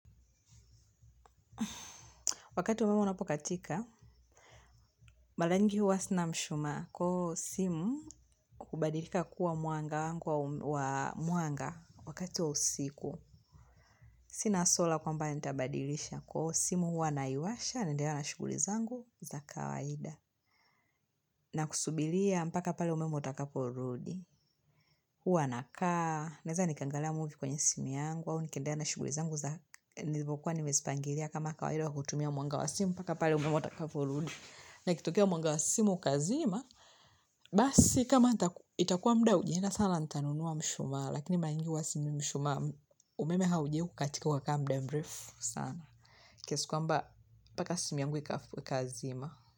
Wakati umeme unapokatika, mara nyingi huwa sina mshumaa kwa hiyo simu hubadilika kuwa mwanga wangu wa mwanga wakati wa usiku. Sina sola kwamba nitabadilisha kwa hiyo simu huwa naiwasha, naendea na shuguli zangu za kawaida. Na kusubiria mpaka pale umeme watakapo rudi. Huwa nakaa, naeza nikaangalia movie kwenye simu yangu, au nikendelea na shuguli zangu za nilipokuwa nimezipangilia kama kawaida kutumia mwanga wa simu mpaka pale mume wangu atakapo rudi. Na ikitokea mwanga wa simu ukazima basi kama itakuwa muda haujaenda sana nitanunua mshumaa lakini mara nyingi huwa sinunui mshumaa. Umeme haujawai kukatika ukakaa muda mrefu sana kiasi kwamba mpaka simu yangu ikazima.